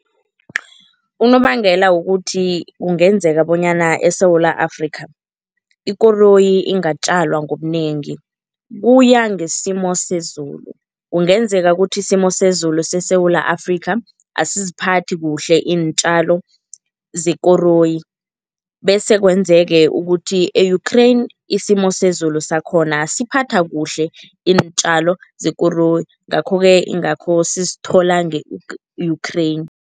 Unobangela wokuthi kungenzeka bonyana eSewula Afrika ikoroyi ingatjalwa ngobunengi, kuya ngesimo sezulu. Kungenzeka ukuthi isimo sezulu seSewula Afrika asiziphathi kuhle iintjalo zekoroyi bese kwenzeke ukuthi e-Ukraine isimo sezulu sakhona siphatha kuhle iintjalo zekoroyi ngakho-ke ingakho sisithola nge Ukraine.